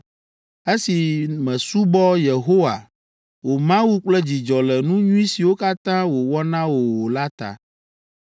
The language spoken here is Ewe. Esi mèsubɔ Yehowa wò Mawu kple dzidzɔ le nu nyui siwo katã wòwɔ na wò o la ta,